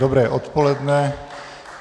Dobré odpoledne.